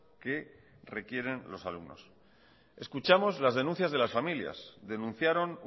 que requieren los alumnos escuchamos las denuncias de las familias denunciaron